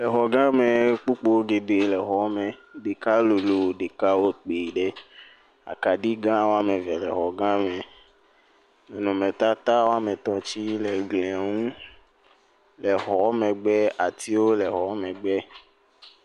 Exɔgã me kpokpoe geɖe le exɔ me. Ɖeka lolo. Ɖeka wɔ kpuie ɖe. Akaɖigã wɔme eve le xɔga me. Nɔnɔnmetata wɔme tɔ̃ tse le glia nu. Le xɔa megbe atiwo le xɔ megbe.